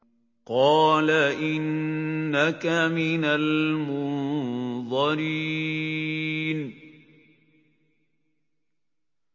قَالَ إِنَّكَ مِنَ الْمُنظَرِينَ